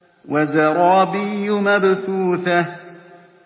وَزَرَابِيُّ مَبْثُوثَةٌ